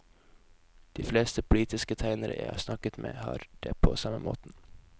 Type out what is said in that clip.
De fleste politiske tegnere jeg har snakket med har det på samme måten.